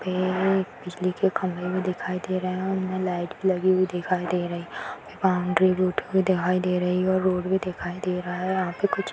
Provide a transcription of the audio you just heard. ये एक बिजली के खम्भे भी दिखाई दे रहे है उनमे लाइट लगी हुई दिखाई दे रही बाउंड्री भी उठी हुई दिखाई दे रही है और रोड भी दिखाई दे रहा है यहाँ पे कुछ --